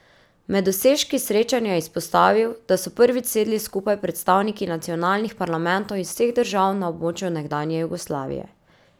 Med dosežki srečanja je izpostavil, da so prvič sedli skupaj predstavniki nacionalnih parlamentov iz vseh držav na območju nekdanje Jugoslavije.